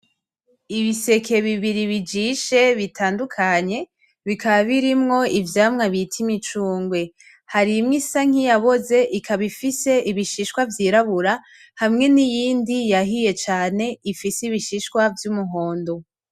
Ibiseke bibiri bijishe bitandukanye bikaba birimwo ivyamwa bita imicungwe harimwo isa nkiyaboze ikaba ifise ibishishwa vyirabura hamwe n'iyindi yahiye cane ifise ibishishwa vy'umuhondo.